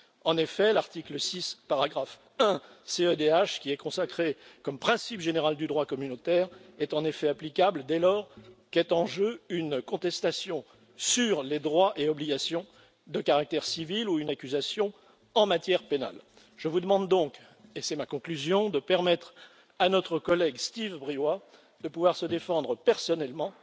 En effet, l'article 6, paragraphe 1, de la convention européenne des droits de l'homme, qui est consacré comme principe général du droit communautaire, est en effet applicable dès lors qu'est en jeu une contestation sur les droits et obligations de caractère civil ou une accusation en matière pénale. Je vous demande donc et c'est ma conclusion de permettre à notre collègue, Steve Briois, de pouvoir se défendre personnellement